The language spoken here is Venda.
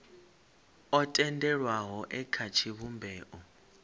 o tendelwaho e kha tshivhumbeo